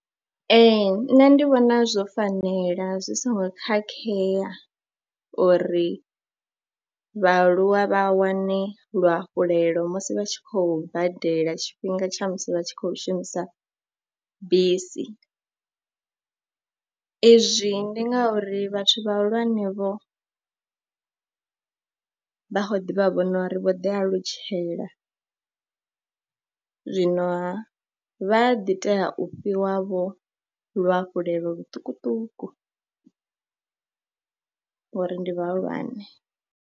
Ee, nṋe ndi vhona zwo fanela zwi songo khakhea uri vhaaluwa vha wane luhafhulelo musi vha tshi khou badela tshifhinga tsha musi vha tshi khou shumisa bisi, izwi ndi ngauri vhathu vhahulwanevho vha khou ḓi vha vhona uri vho ḓialutshela, zwino vha ḓi tea u fhiwavho luhafhulelo luṱukuṱuku ngori ndi vhahulwane.